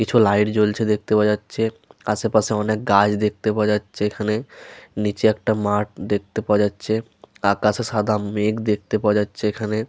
কিছু লাইট জ্বলছে দেখতে পাওয়া যাচ্ছে। আশেপাশে অনেক গাছ দেখতে পাওয়া যাচ্ছে এখানে। নিচে একটা মাঠ দেখতে পাওয়া যাচ্ছে। আকাশে সাদা মেঘ দেখতে পাওয়া যাচ্ছে এখানে।